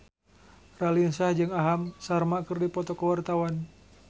Raline Shah jeung Aham Sharma keur dipoto ku wartawan